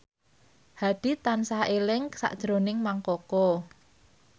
Hadi tansah eling sakjroning Mang Koko